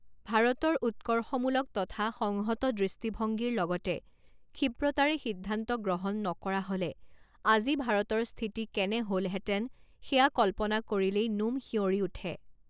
ভাৰতৰ উৎকৰ্ষমুলক তথা সংহত দৃষ্টিভংগীৰ লগতে ক্ষিপ্ৰতাৰে সিদ্ধান্ত গ্ৰহণ নকৰা হ'লে আজি ভাৰতৰ স্থিতি কেনে হ'লহেতেন সেয়া কল্পনা কৰিলেই নোম সিয়ঁৰি উঠে।